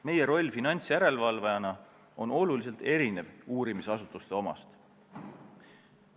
Meie roll finantsjärelevalvajana on oluliselt erinev uurimisasutuste omast.